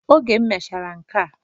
Oge emechara nkea